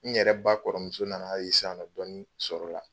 N yɛrɛ ba kɔrɔmuso nan'a ye sisan nɔ dɔɔnin sɔrɔla